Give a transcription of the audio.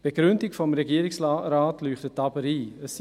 Die Begründung des Regierungsrates leuchtet aber ein.